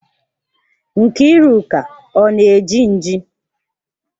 Nkiruka ọ na-eji nji?